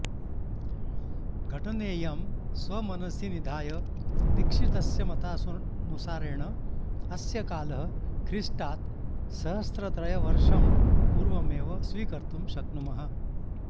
घटनेयं स्वमनसि निधाय दीक्षितस्य मतानुसारेण अस्य कालः ख्रीष्टात् सहस्रत्रयवर्षं पूर्वमेव स्वीकर्तुं शक्नुमः